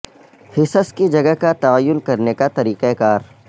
حصص کی جگہ کا تعین کرنے کا طریقہ کار